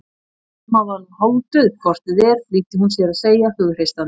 Amma var nú hálfdauð hvort eð var flýtti hún sér að segja hughreystandi.